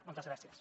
moltes gràcies